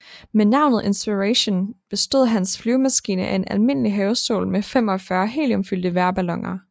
Med navnet Inspiration I bestod hans flyvemaskine af en almindelig havestol med 45 heliumfyldte vejrballoner